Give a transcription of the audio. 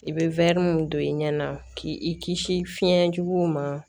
I bɛ min don i ɲɛna k'i kisi fiɲɛ juguw ma